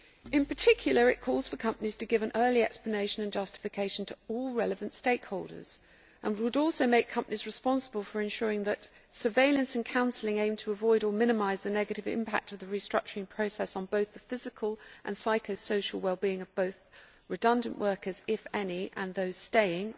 In particular, it calls for companies to give an early explanation and justification to all relevant stakeholders, and would also make companies responsible for ensuring that surveillance and counselling aimed to avoid or minimise the negative impact of the restructuring process on both the physical and psycho social for both redundant workers, if any, and those staying'